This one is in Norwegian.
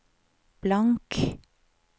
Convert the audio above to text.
blank